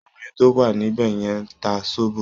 Obìnrin tó wà níbẹ̀ yẹn ń ta sóbò